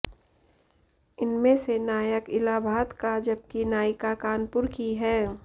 इनमें से नायक इलाहाबाद का जबकि नायिका कानपुर की है